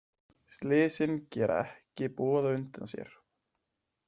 Slysin gera ekki boð á undan sér.